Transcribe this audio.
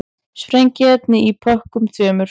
Sprengiefni í pökkunum tveimur